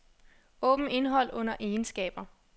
Åbn indhold under egenskaber.